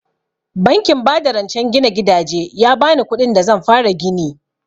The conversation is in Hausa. Bankin ba da rancen gina gidaje ya bani kuɗin da zan fara gini